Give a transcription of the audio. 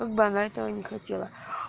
как бы она этого не хотела